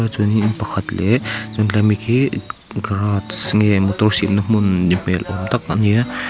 chuanin pakhat leh chuan tlai mi khi garage nge motor siamna hmun ni hmel awm tak ani a.